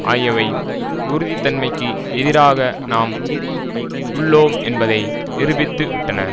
ஆகியவை உறுதித்தன்மைக்கு எதிராக நாம் உள்ளோம் என்பதை நிருபித்துவிட்டன